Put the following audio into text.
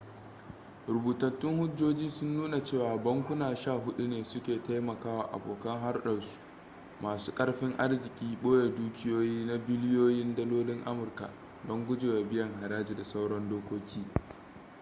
rubutattun hujjoji sun nuna cewa bankuna sha hudu ne su ka taimakawa abokan hurdarsu masu karfin arziki boye dukiyoyi na biliyoyin dalolin amurka don gujewa biyan haraji da sauran dokoki